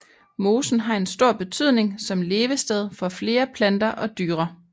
Mosen har en stor betydning som levested for flere planter og dyre